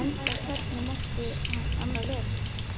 Enda hvernig mátti annað vera?